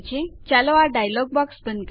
ચાલો આ dialog box બંધ કરીએ